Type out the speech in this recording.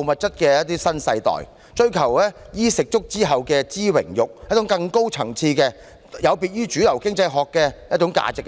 物質主義"的新世代，追求"衣食足"之後的"知榮辱"，追求更高層次丶有別於主流經濟學的價值。